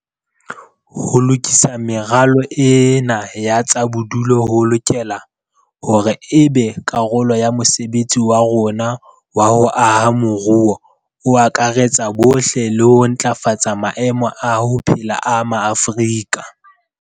Ho lokisa meralo ena ya tsa bodulo ho lokela hore e be karolo ya mosebetsi wa rona wa ho aha moruo o akaretsang bohle le ho ntlafatsa maemo a ho phela a Maafrika